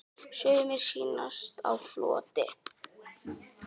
Sumir sýnast á floti.